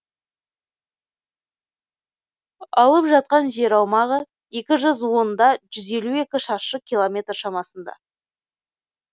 алып жатқан жер аумағы екі жүз онда жүз елу екі шаршы километр шамасында